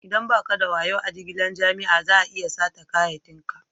Idan ba ka da wayo a jigilan jama'a, za'a iya sata kayakin ka.